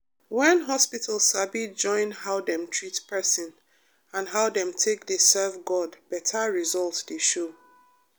when hospital sabi join how dem treat person and how dem take dey serve god better result dey show.